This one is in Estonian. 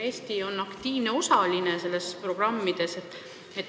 Eesti on nendes programmides aktiivne osaline.